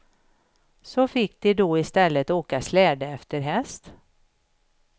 Så fick de då istället åka släde efter häst.